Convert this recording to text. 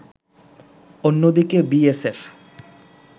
অন্যদিকে বিএসএফ